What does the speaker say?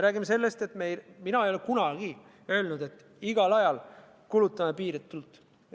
Ja mina ei ole kunagi öelnud, et kulutame igal ajal piiritult.